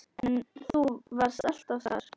En þú varst alltaf þar.